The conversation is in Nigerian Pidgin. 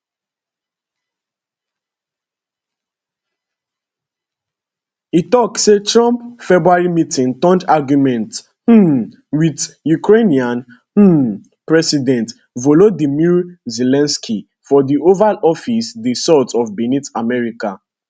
e tok say trump february meetingturnedargument um wit ukrainian um president volodymyr zelensky for di oval office dey sort of beneath america